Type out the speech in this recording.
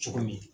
Cogo min